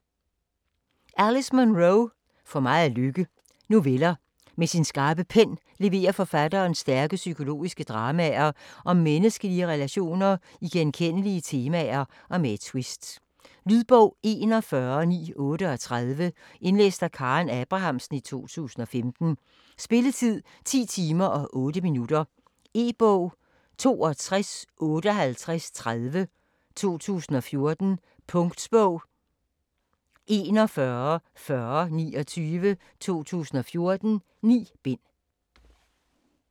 Munro, Alice: For meget lykke Noveller. Med sin skarpe pen leverer forfatteren stærke psykologiske dramaer om menneskelige relationer i genkendelige temaer med et tvist. Lydbog 41938 Indlæst af Karen Abrahamsen, 2015. Spilletid: 10 timer, 8 minutter. E-bog 625830 2014. Punktbog 414029 2014. 9 bind.